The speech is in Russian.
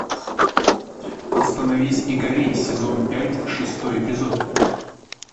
остановись и гори сезон пять шестой эпизод